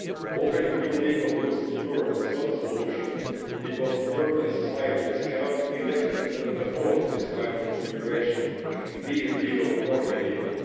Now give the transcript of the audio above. Opening new legal routes to Europe is not a solution, because European societies cannot indefinitely afford this kind of immigration, be it legal or illegal.